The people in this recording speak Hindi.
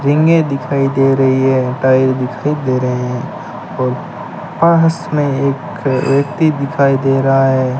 रिंगे दिखाई दे रही है टाइल दिखाई दे रहे हैं और पास में एक व्यक्ति दिखाई दे रहा है।